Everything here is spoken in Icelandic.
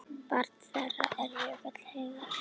Barn þeirra er Jökull Heiðar.